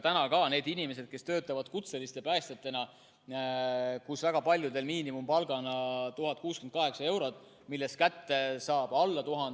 Nendel inimestel, kes töötavad kutseliste päästjatena, on väga paljudel päästja miinimumpalk, 1068 eurot, millest kätte saab alla 1000.